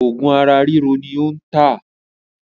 Òògùn ara ríro ni ó ń tà